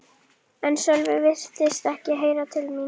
En Sölvi virtist ekki heyra til mín.